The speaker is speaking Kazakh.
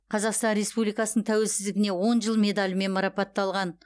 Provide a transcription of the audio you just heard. қазақстан республикасының тәуелсіздігіне он жыл медалімен марапатталған